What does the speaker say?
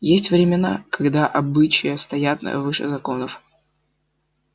есть времена когда обычаи стоят выше законов